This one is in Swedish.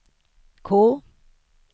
K